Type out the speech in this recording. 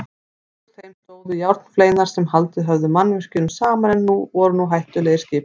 Útúr þeim stóðu járnfleinar sem haldið höfðu mannvirkjunum saman en voru nú hættulegir skipum.